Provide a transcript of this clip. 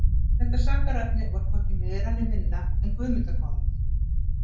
Þetta sakarefni var hvorki meira né minna en Guðmundarmálið.